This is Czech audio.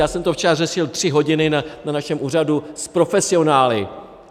Já jsem to včera řešil tři hodiny na našem úřadu s profesionály.